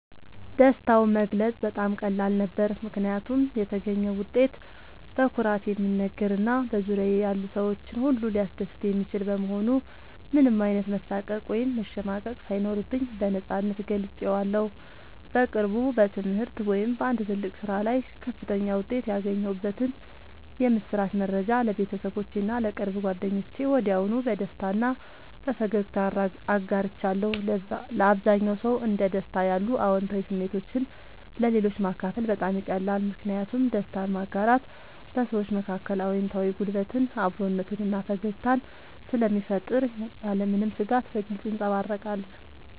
ደስታውን መግለጽ በጣም ቀላል ነበር፦ ምክንያቱም የተገኘው ውጤት በኩራት የሚነገር እና በዙሪያዬ ያሉ ሰዎችን ሁሉ ሊያስደስት የሚችል በመሆኑ ምንም አይነት መሳቀቅ ወይም መሸማቀቅ ሳይኖርብኝ በነፃነት ገልጬዋለሁ። በቅርቡ በትምህርት ወይም በአንድ ትልቅ ስራ ላይ ከፍተኛ ውጤት ያገኘሁበትን የምስራች መረጃ ለቤተሰቦቼ እና ለቅርብ ጓደኞቼ ወዲያውኑ በደስታ እና በፈገግታ አጋርቻለሁ። ለአብዛኛው ሰው እንደ ደስታ ያሉ አዎንታዊ ስሜቶችን ለሌሎች ማካፈል በጣም ይቀላል። ምክንያቱም ደስታን ማጋራት በሰዎች መካከል አዎንታዊ ጉልበትን፣ አብሮነትን እና ፈገግታን ስለሚፈጥር ያለምንም ስጋት በግልጽ ይንጸባረቃል።